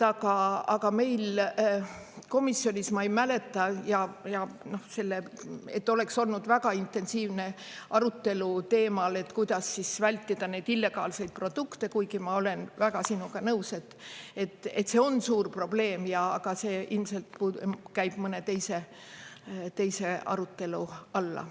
Aga meil komisjonis ma ei mäleta, et oleks olnud väga intensiivne arutelu teemal, et kuidas vältida neid illegaalseid produkte, kuigi ma olen väga sinuga nõus, et see on suur probleem, aga see ilmselt käib mõne teise arutelu alla.